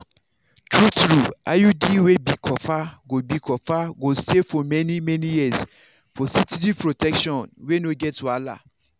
true-true iud wey be copper go be copper go stay for many-many years for steady protection wey no get wahala.